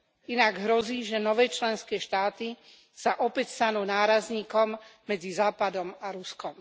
Inak hrozí, že nové členské štáty sa opäť stanú nárazníkom medzi Západom a Ruskom.